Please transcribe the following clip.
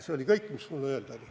See on kõik, mis mul öelda oli.